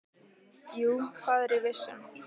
Jú, það er ég viss um.